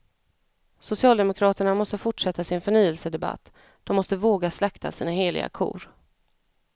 Socialdemokraterna måste fortsätta sin förnyelsedebatt, de måste våga slakta sina heliga kor.